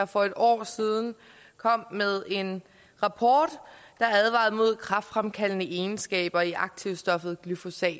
for et år siden kom med en rapport der advarede mod kræftfremkaldende egenskaber i aktivstoffet glyfosat